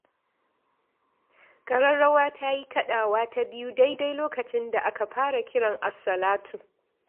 Ƙararrawa ta yi kaɗawa ta biyu daidai lokacin da aka fara kiran assalatu.